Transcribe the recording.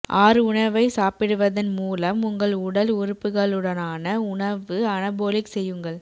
ஆறு உணவை சாப்பிடுவதன் மூலம் உங்கள் உடல் உறுப்புகளுடனான உணவு அனபோலிக் செய்யுங்கள்